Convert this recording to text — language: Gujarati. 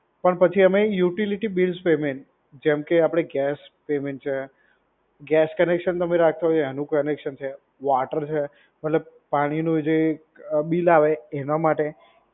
પણ પછી અમે ઉટીલીટી બીલ્સ પેમેન્ટ, જએમ કે આપડે ગેસ પેમેન્ટ છે, ગેસ કનેક્શન તમે રાખ્યો છે એનું કનેક્શન છે, વાટર છે. મતલબ પાણીનું જે બિલ આવે એના માટે